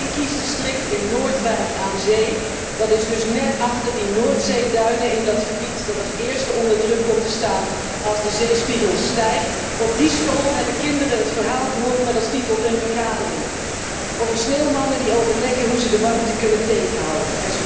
In mijn kiesdistrict, in Noordwijk aan Zee, dat dus net achter die Noordzeeduinen ligt in een gebied dat als eerste onder druk komt te staan als de zeespiegel stijgt, hebben de kinderen op school een verhaal gehoord met als titel Een vergadering, over sneeuwmannen die overleggen hoe ze de warmte kunnen tegenhouden.